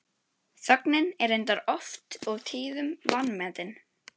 Þögnin er reyndar oft og tíðum vanmetin.